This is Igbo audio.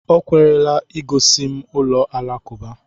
O kwela i gosi m ụlọ alakụba.